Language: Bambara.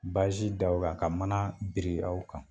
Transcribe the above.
Baazi d'aw la ka manaa biri aw kan.